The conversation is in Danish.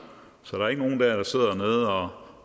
så der er ikke nogen der sidder